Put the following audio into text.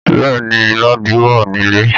Bẹ́ẹ̀ ni, Ladi wà nílé